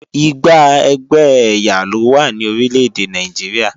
Igba ẹgbẹ́ ẹ̀yà lówá ní orílèdè Nàìjíríà